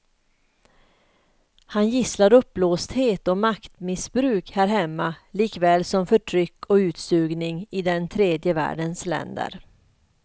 Han gisslar uppblåsthet och maktmissbruk här hemma likaväl som förtryck och utsugning i den tredje världens länder.